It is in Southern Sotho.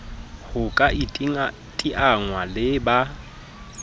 ho ka iteanngwa le ba